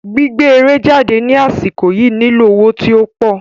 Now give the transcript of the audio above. Gbígbé eré jáde ní àsìkò yìí nílò owó tí ópò